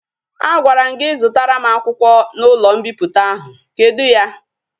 A gwara m gi zutara m akwukwo na ulo mpiputa ahu, kedu ya?